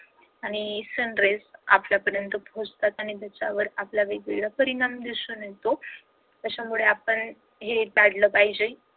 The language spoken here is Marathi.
आणि sun rays आपल्या पर्यंत पोहचतात आणि त्याचा आपल्यावर विपरीत परिणाम दिसून येतो त्याच्यामुळं आपण हे टाळलं पाहिजे.